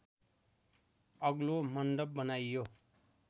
अग्लो मन्डप बनाइयो